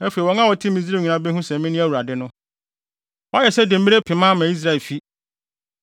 Afei wɔn a wɔte Misraim nyinaa behu sɛ mene Awurade no. “ ‘Woayɛ sɛ demmire pema ama Israelfi.